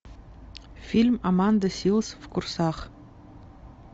фильм аманда силз в курсах